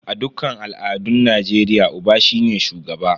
A dukkan al'adun Najeriya, Uba shine shugaba.